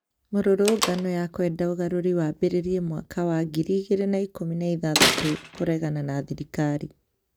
Mũrũrũngano ya kwenda ũgaruri wambĩrĩrie mwaka wa ngiri igĩri na ikũmi na ithathatu kũregana na thirikari